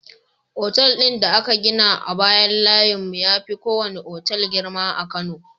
Otal din da aka gina a bayan layin mu yafi kowane otal girma a kano